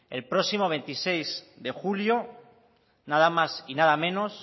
el próximo veintiséis de julio nada más y nada menos